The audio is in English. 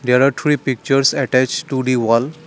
there are three pictures attached to the wall.